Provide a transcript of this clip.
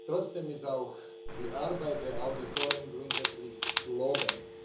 Trotzdem ist auch die Arbeit der Auditoren grundsätzlich zu loben.